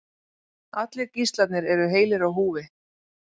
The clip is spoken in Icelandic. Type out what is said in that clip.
Allir gíslarnir eru heilir á húfi